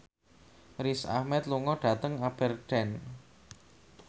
Riz Ahmed lunga dhateng Aberdeen